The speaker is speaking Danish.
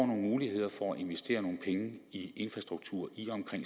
nogle muligheder for at investere nogle penge i infrastruktur i og omkring